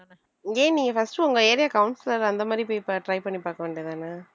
ஏன் நீ first உங்க area councillor அந்த மாதிரி போய் பார்~ try பண்ணி பாக்க வேண்டியதுதானே